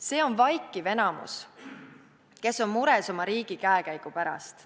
See on vaikiv enamus, kes on mures oma riigi käekäigu pärast.